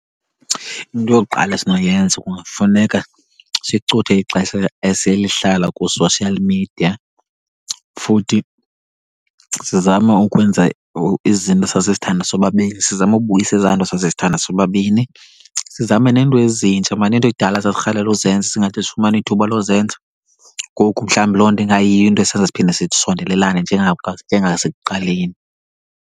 Into yokuqala esinoyenza kungafuneka sicuthe ixesha esilihlala kwi-social media, futhi sizame ukwenza izinto esasizithanda sobabini, sizame ukubuyisa ezaa nto sasizithanda sobabini. Sizame neento ezintsha mani, iinto ekudala sasirhalela uzenza singade sifumane ithuba lozenza. Ngoku mhlawumbi loo nto ingayiyo into esenza siphinde sisondelelane njengasekuqaleni.